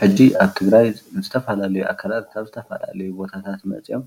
ሐጂ ኣብ ትግራይ ዝተፈላለዩ ኣካላት ካብ ዝተፈላለዩ ቦታታት መፅኦም